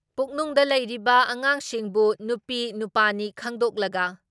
ꯄꯨꯛꯅꯨꯡꯗ ꯂꯩꯔꯤꯕ ꯑꯉꯥꯡꯁꯤꯡꯕꯨ ꯅꯨꯄꯤꯅꯨꯄꯥꯅꯤ ꯈꯪꯗꯣꯛꯂꯒ